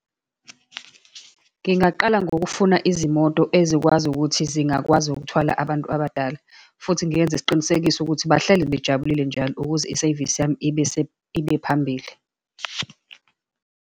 Ngingaqala ngokufuna izimoto ezikwazi ukuthi zingakwazi ukuthwala abantu abadala, futhi ngiyenze isiqinisekiso ukuthi bahlele bejabulile njalo, ukuze iseyivisi yami ibe ibe phambili.